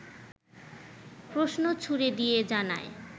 প্রশ্ন ছুড়ে দিয়ে জানায়